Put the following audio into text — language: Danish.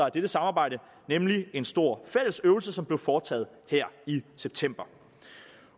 af dette samarbejde nemlig en stor fælles øvelse som blev foretaget her i september